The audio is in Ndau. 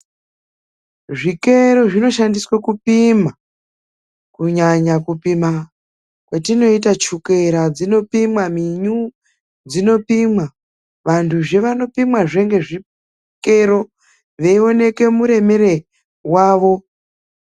Zvikero zvinoshandiswa kupima kunyanya kupima kwatinoita chukera, dzinopimwa minyu dzinopimwa, vantuzve vanopimwazve ngezvikero veionekwa muremero wavo.